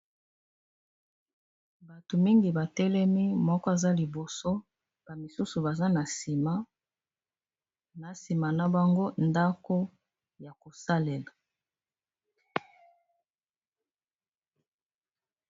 bato mingi batelemi moko aza liboso bamisusu baza na nsima na bango ndako ya kosalela